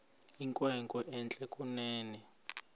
inkwenkwe entle kunene